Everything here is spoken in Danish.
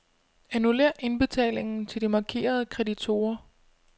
Annullér indbetalingen til de markerede kreditorer.